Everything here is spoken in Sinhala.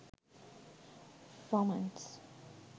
romance